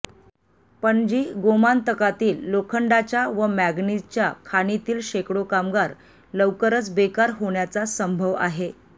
पणजीः गोमंतकातील लोखंडाच्या व मँगनीजच्या खाणीतील शेकडो कामगार लौकरच बेकार होण्याचा संभव आहे